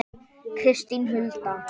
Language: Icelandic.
Kristín Hulda.